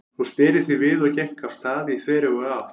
Hún sneri því við og gekk af stað í þveröfuga átt.